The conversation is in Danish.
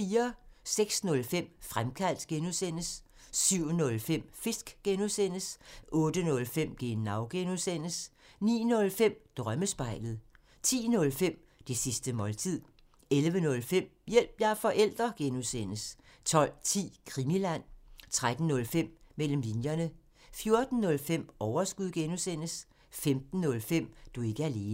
06:05: Fremkaldt (G) 07:05: Fisk (G) 08:05: Genau (G) 09:05: Drømmespejlet 10:05: Det sidste måltid 11:05: Hjælp – jeg er forælder! (G) 12:10: Krimiland 13:05: Mellem linjerne 14:05: Overskud (G) 15:05: Du er ikke alene